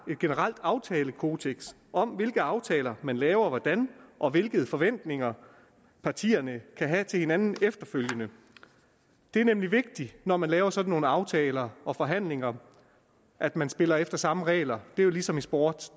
generelt aftalekodeks om hvilke aftaler man laver hvordan og hvilke forventninger partierne kan have til hinanden efterfølgende det er nemlig vigtigt når man laver sådan nogle aftaler og forhandlinger at man spiller efter samme regler det er jo ligesom i sport